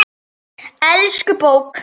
Elsku bók!